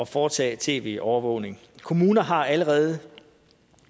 foretage tv overvågning kommunerne har allerede